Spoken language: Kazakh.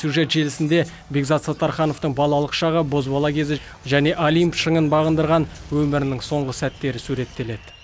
сюжет желісінде бекзат саттархановтың балалық шағы бозбала кезі және олимп шыңын бағындырған өмірінің соңғы сәттері суреттеледі